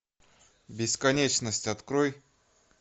бесконечность открой